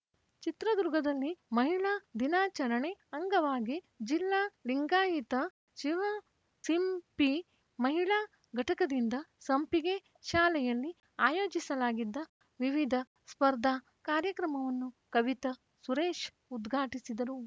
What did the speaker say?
ಚಿತ್ರದುರ್ಗದಲ್ಲಿ ಮಹಿಳಾ ದಿನಾಚರಣೆ ಅಂಗವಾಗಿ ಜಿಲ್ಲಾ ಲಿಂಗಾಯಿತ ಶಿವಸಿಂಪಿ ಮಹಿಳಾ ಘಟಕದಿಂದ ಸಂಪಿಗೆ ಶಾಲೆಯಲ್ಲಿ ಆಯೋಜಿಸಲಾಗಿದ್ದ ವಿವಿಧ ಸ್ಪರ್ಧಾ ಕಾರ್ಯಕ್ರಮವನ್ನು ಕವಿತ ಸುರೇಶ್‌ ಉದ್ಘಾಟಿಸಿದರು